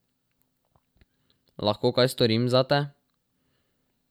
Lahko kaj storim zate?